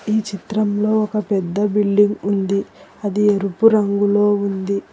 ఈ చిత్రంలో ఒక పెద్ద బిల్డింగ్ ఉంది అది ఎరుపు రంగులో ఉంది.